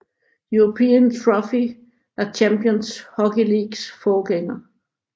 European Trophy er Champions Hockey Leagues forgænger